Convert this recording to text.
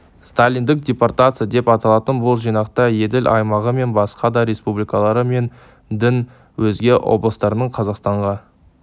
сталиндік депортация деп аталатын бұл жинақта еділ аймағы мен басқа да республикалары мен дің өзге облыстарынан қазақстанға